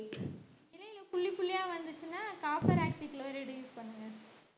இலைல புள்ளி புள்ளியா வந்துச்சுனா copper oxychloride use பண்ணுங்க